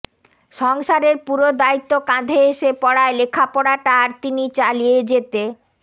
সংসারের পুরো দায়িত্ব কাঁধে এসে পড়ায় লেখাপড়াটা আর তিনি চালিয়ে যেতে